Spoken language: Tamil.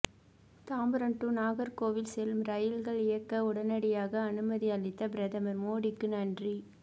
தாம்பரம் டூ நாகர்கோவில் செல்லும் ரயில்கள் இயக்க உடனடியாக அனுமதி அளித்த பிரதமர் மோடிக்கு நன்றி